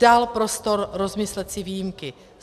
Dal prostor rozmyslet si výjimky.